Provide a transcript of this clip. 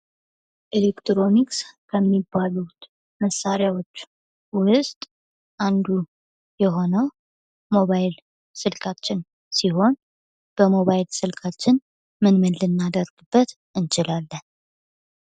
ኤሌክትሮኒክስ ከሚባሉት መሣሪያዎች አንዱ የሆነው ሞባይል ስልካችን ሲሆን በሞባይል ስልካችን ምን ምን ልናደርግበት እንችላለን?